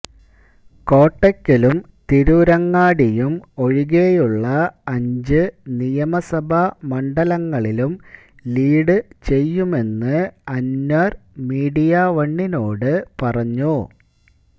കോട്ടക്കലും തിരൂരങ്ങാടിയും ഒഴികയുള്ള അഞ്ച് നിയമസഭാ മണ്ഡലങ്ങളിലും ലീഡ് ചെയ്യുമെന്ന് അന്വര് മീഡിയാവണിനോട് പറഞ്ഞു